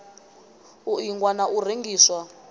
u ingwa na u rengiswa